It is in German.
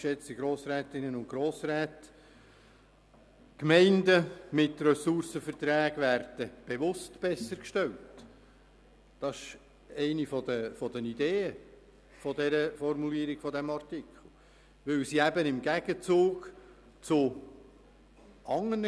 Die Gemeinden mit Ressourcenverträgen werden bewusst bessergestellt, weil sie im Gegensatz zu anderen Gemeinden bereit sind, Polizeidienstleistungen einzukaufen.